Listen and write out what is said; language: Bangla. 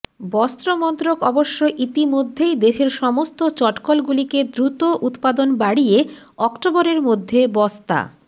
বস্ত্র মন্ত্রক অবশ্য ইতিমধ্যেই দেশের সমস্ত চটকলগুলিকে দ্রুত উৎপাদন বাড়িয়ে অক্টোবরের মধ্যে বস্তা